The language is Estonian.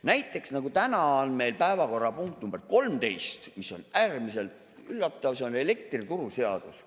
Näiteks täna on meil päevakorrapunkt nr 13, mis on äärmiselt üllatav, elektrituruseadus.